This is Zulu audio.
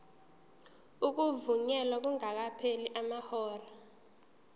ukuvunyelwa kungakapheli amahora